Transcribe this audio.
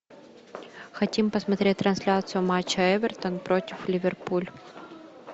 хотим посмотреть трансляцию матча эвертон против ливерпуль